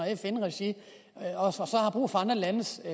fn regi og så har brug for andre landes